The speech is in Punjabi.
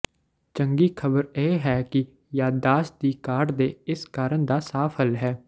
ਚੰਗੀ ਖ਼ਬਰ ਇਹ ਹੈ ਕਿ ਯਾਦਦਾਸ਼ਤ ਦੀ ਘਾਟ ਦੇ ਇਸ ਕਾਰਨ ਦਾ ਸਾਫ ਹੱਲ ਹੈ